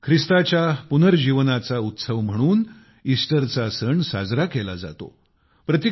येशू ख्रिस्ताच्या पुनर्जीवनाचा उत्सव म्हणून ईस्टरचा सण साजरा केला जातो